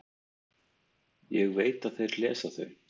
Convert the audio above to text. Ég veit að þeir lesa þau.